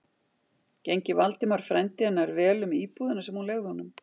Gengi Valdimar, frændi hennar, vel um íbúðina sem hún leigði honum?